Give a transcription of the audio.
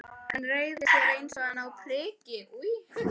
Hann reigði sig eins og hani á priki.